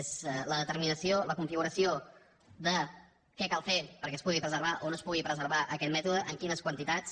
és la determinació la configuració de què cal fer perquè es pugui preservar o no es pugui preservar aquest mètode en quines quantitats